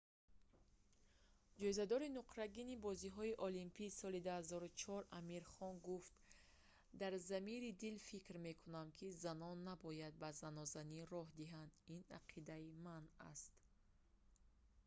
ҷоизадори нуқрагини бозиҳои олимпии соли 2004 амир хон гуфт дар замири дил фикр мекунам ки занон набояд ба занозанӣ роҳ диҳанд ин ақидаи ман аст